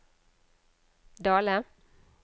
Dale